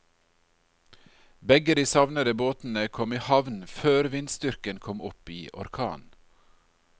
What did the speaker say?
Begge de savnede båtene kom i havn før vindstyrken kom opp i orkan.